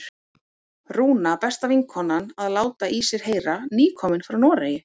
Rúna, besta vinkonan, að láta í sér heyra, nýkomin frá Noregi!